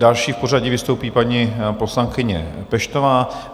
Další v pořadí vystoupí paní poslankyně Peštová.